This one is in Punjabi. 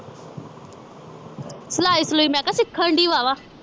ਸਿਲਾਈ ਸਲੂਈ ਮੈਂ ਕਿਹਾ ਸਿੱਖਣ ਡਈ ਵਾਵਾ